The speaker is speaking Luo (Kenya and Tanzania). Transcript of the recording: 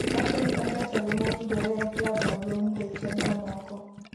owacho ni en jatelo mowinjore e klab maduong' nikech chenro moko